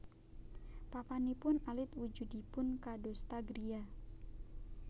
Papanipun alit wujudipun kadosta griya